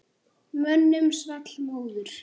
Mönnum svall móður.